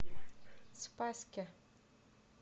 спасске